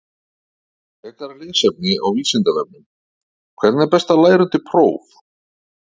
Frekara lesefni á Vísindavefnum: Hvernig er best að læra undir próf?